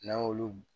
N'an y'olu